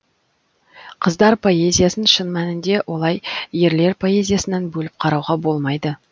қыздар поэзиясын шын мәнінде олай ерлер поэзиясынан бөліп қарауға болмайды